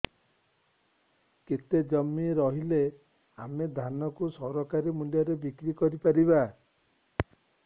କେତେ ଜମି ରହିଲେ ଆମେ ଧାନ କୁ ସରକାରୀ ମୂଲ୍ଯରେ ବିକ୍ରି କରିପାରିବା